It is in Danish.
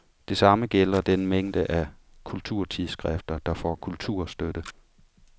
Det samme gælder den mængde af kulturtidsskrifter, der får kulturstøtte.